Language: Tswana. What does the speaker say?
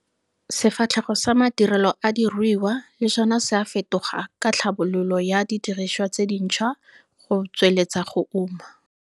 Sefatlhego sa madirelo a diruiwa le sona sa a fetoga ka tlhabololo ya didiriswa tse dintshwa go tsweletsa go uma.